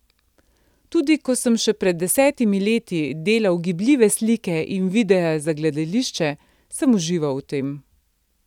Tudi ko sem še pred desetimi leti delal gibljive slike in videe za gledališče, sem užival v tem.